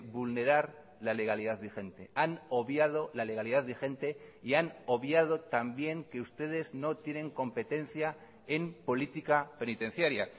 vulnerar la legalidad vigente han obviado la legalidad vigente y han obviado también que ustedes no tienen competencia en política penitenciaria